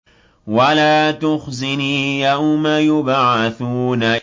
وَلَا تُخْزِنِي يَوْمَ يُبْعَثُونَ